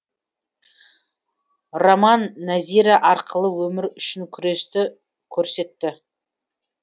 роман нәзира арқылы өмір үшін күресті көрсетті